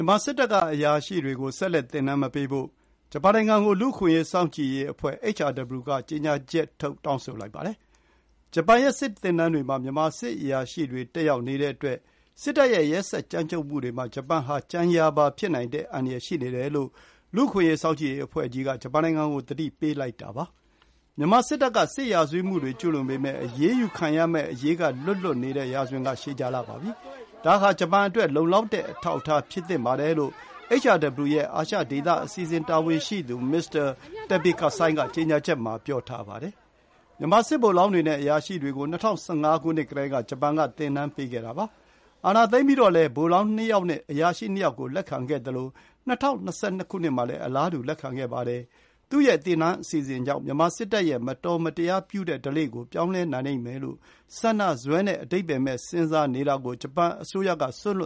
ြန်မာစစ်တပ်ကအရာရှိတွေကို ဆက်လက် သင်တန်းမပေးဖို့ လူ့အခွင့် အရေး စောင့်ကြည့်ရေးအဖွဲ့ကြီးက ကြေညာချက်ထုတ် တောင်းဆိုလိုက်ပါတယ်။ ဂျပန်ရဲ့စစ်သင်တန်းတွေမှာ မြန်မာစစ်အရာရှိတွေ တက်ရောက်နေတဲ့အတွက် စစ်တပ်ရဲ့ ရက်စက် ကြမ်းကြုတ်မှုတွေမှာ ဂျပန်ဟာ ကြံရာပါဖြစ်နိုင်တဲ့အန္တရာယ် ရှိနေတယ်လို့ လူ့အခွင့်အရေး စောင့်ကြည့်ရေးအဖွဲ့ (HRW) က ပြောပါတယ်။ မြန်မာစစ်တပ်က စစ်ရာဇဝတ်မှုတွေ ကျူးလွန်ပေမယ့် အရေးယူခံရမယ့်အရေးကလွတ်နေတဲ့ ရာဇဝင်က ရှည်ကြာလှပြီမို့ ဂျပန်အတွက် လုံလောက်တဲ့အထောက်အထား ဖြစ်သင့်ပါတယ်လို့ HRW ရဲ့ အာရှ ဒေသ အစီအစဉ် တာဝန်ရှိသူ မစ္စတာ Teppei Kasai က ကြေညာချက်မှာ ပြောပါတယ်။ မြန်မာစစ်ဗိုလ်လောင်းတွေနဲ့ အရာရှိတွေကို ၂၀၁၅ ကတည်းက ဂျပန်က သင်တန်းပေးခဲ့တာပါ။ အာဏာသိမ်းပြီးတော့လည်း ဗိုလ်လောင်း ၂ ယောက်နဲ့ အရာရှိ ၂ ယောက်ကို လက်ခံခဲ့သလို ၂၀၂၂ မှာလည်း အလားတူ လက်ခံခဲ့ပါတယ်။ “သူ့ရဲ့သင်တန်း အစီအစဉ် ကြောင့် မြန်မာစစ်တပ်ရဲ့ မတော်မတရားပြုတဲ့ဓလေ့ကို ပြောင်းနိုင်လိမ့်မယ်လို့ ဆန္ဒစွဲနဲ့ အဓိပ္ပါယ်မဲ့ စဉ်းစားပုံကို ဂျပန်အစိုးရက စွန့်လွ